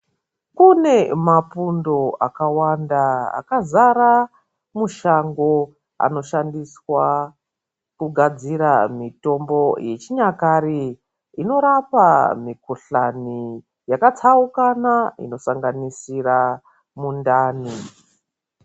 Kune mapundo akawanda akazara mushango, anoshandiswa kugadzira mitombo yechinyakare inorapa mikuhlani yakatsaukana inosanganisira mundani.